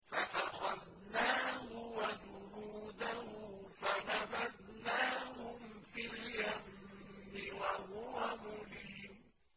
فَأَخَذْنَاهُ وَجُنُودَهُ فَنَبَذْنَاهُمْ فِي الْيَمِّ وَهُوَ مُلِيمٌ